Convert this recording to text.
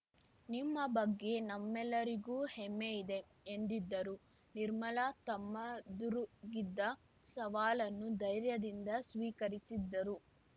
ನಿಮ್ಮ ಬಗ್ಗೆ ನಮ್ಮೆಲ್ಲರಿಗೂ ಹೆಮ್ಮೆ ಇದೆ ಎಂದಿದ್ದರು ನಿರ್ಮಲಾ ತಮ್ಮೆದುರಿಗಿದ್ದ ಸವಾಲನ್ನು ಧೈರ್ಯದಿಂದ ಸ್ವೀಕರಿಸಿದ್ದರು